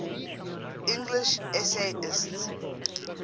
english essayists